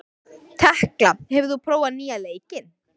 Tekla, hefur þú prófað nýja leikinn?